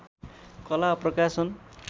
कला प्रकाशन